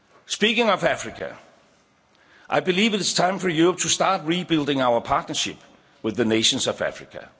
Speaking of Africa, I believe it is time for Europe to start rebuilding our partnership with the nations of